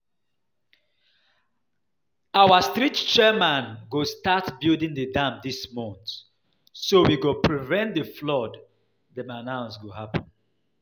Our street chairman go start building the dam dis month so we go prevent the flood dem announce go happen